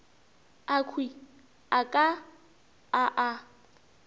akhwi a ka a a